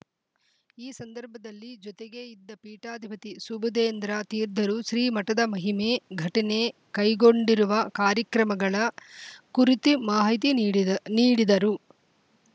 ಈ ಸಂದರ್ಭದಲ್ಲಿ ಜೊತೆಗೆ ಇದ್ದ ಪೀಠಾಧಿಪತಿ ಸುಬುಧೇಂದ್ರ ತೀರ್ಧ ರು ಶ್ರೀಮಠದ ಮಹಿಮೆ ಘಟನೆ ಕೈಗೊಂಡಿರುವ ಕಾರ್ಯಕ್ರಮಗಳ ಕುರಿತಿ ಮಾಹಿತಿ ನೀಡಿದ ನೀಡಿದರು